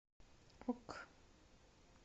ок